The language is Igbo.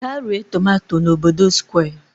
Gaa ree tomato n'obodo Square!